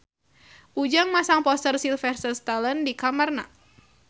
Ujang masang poster Sylvester Stallone di kamarna